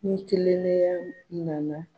Ni tilenenya nana